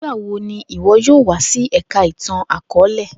Nigbawo ni iwọ yoo wa si Ẹka Itan-akọọlẹ?